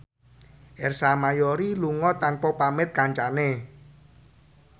Ersa Mayori lunga tanpa pamit kancane